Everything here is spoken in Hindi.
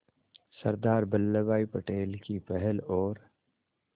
सरदार वल्लभ भाई पटेल की पहल और